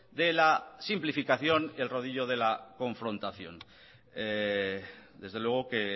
de la simplificación y el rodillo de la confrontación desde luego que